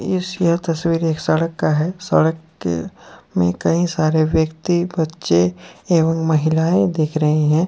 इस यह तस्वीर एक सड़क का है सड़क के में कई सारे व्यक्ति बच्चे एवं महिलाएं दिख रही है।